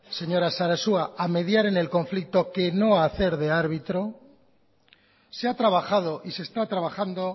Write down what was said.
señora sarasua a mediar en el conflicto que no hacer de árbitro se ha trabajado y se está trabajando